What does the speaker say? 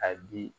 A bi